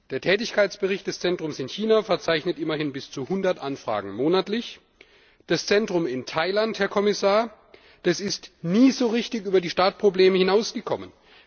Der Tätigkeitsbericht des Zentrums ins China verzeichnet immerhin bis zu 100Anfragen monatlich, das Zentrum in Thailand, Herr Kommissar, ist nie so richtig über die Startprobleme hinausgekommen.